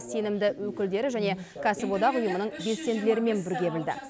сенімді өкілдері және кәсіподақ ұйымының белсенділерімен бірге білді